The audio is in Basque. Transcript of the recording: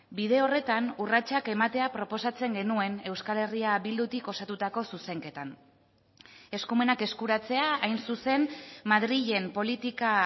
bide horretan urratsak ematea proposatzen genuen euskal herria bildutik osatutako zuzenketan eskumenak eskuratzea hain zuzen madrilen politika